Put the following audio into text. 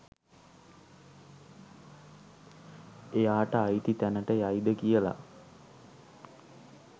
එයාට අයිති තැනට යයිද කියලා?